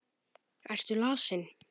Ertu lasin?